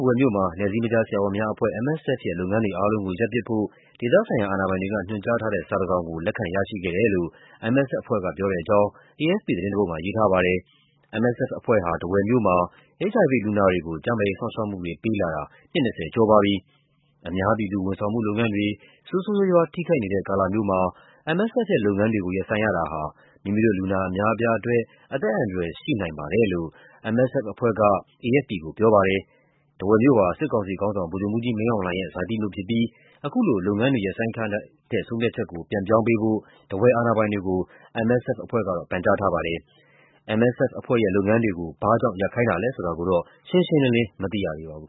ဝယ်မြို့မှာ နယ်စည်းမခြားဆရာဝန်များအဖွဲ့ (MSF) ရဲ့ လုပ်ငန်းတွေအားလုံးကို ရပ်ပစ်ဖို့ ဒေသဆိုင်ရာအာဏာပိုင်တွေက ညွှန်ကြားထားတဲ့စာတစောင်ကို လက်ခံရရှိခဲ့တယ်လို့ MSF အဖွဲ့က ပြောတဲ့အကြောင်း AFP သတင်းတပုဒ်မှာ ရေးထားပါတယ်။ MSF အဖွဲ့ဟာ ထားဝယ်မြို့မှာ HIV လူနာတွေကို ကျန်းမာရေး စောင့်ရှောက်မှုတွေ ပေးလာတာ နှစ် ၂၀ ကျော်ပါပြီ။ "အများပြည်သူ ဝန်ဆောင်မှုလုပ်ငန်းတွေ ဆိုးဆိုးရွားရွား ထိခိုက်နေတဲ့ ကာလမျိုးမှာ MSF ရဲ့လုပ်ငန်းတွေကို ရပ်ဆိုင်းရတာဟာ မိမိတို့လူနာအများအပြားအတွက် အသက်အန္တရာယ် ရှိနိုင်ပါတယ်" လို့ MSF အဖွဲ့က AFP ကိုပြောပါတယ်။ ထားဝယ်မြို့ဟာ စစ်ကောင်စီခေါင်းဆောင် ဗိုလ်ချုပ်မှူးကြီးမင်းအောင်လှိုင်ရဲ့ ဇာတိမြို့ဖြစ်ပြီး အခုလို လုပ်ငန်းတွေရပ်ဆိုင်းခိုင်းတဲ့ ဆုံးဖြတ်ချက်ကို ပြန်ပြောင်းပေးဖို့ ထားဝယ်အာဏာပိုင်တွေကို MSF အဖွဲ့က ပန်ကြားထားပါတယ်။ MSF အဖွဲ့ရဲ့လုပ်ငန်းတွေကို ဘာ့ကြောင့်ရပ်ခိုင်းတာလဲဆိုတာတော့ ရှင်းရှင်းလင်းလင်း မသိရသေးပါဘူး